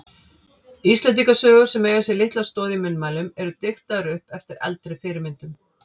Íslendingasögur sem eiga sér litla stoð í munnmælum eru diktaðar upp eftir eldri fyrirmyndum.